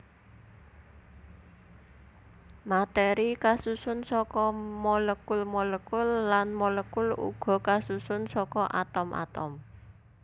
Matèri kasusun saka molekul molekul lan molekul uga kasusun saka atom atom